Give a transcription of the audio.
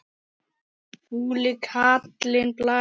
Fúli kallinn blæs.